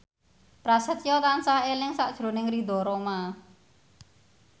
Prasetyo tansah eling sakjroning Ridho Roma